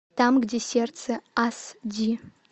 там где сердце ас ди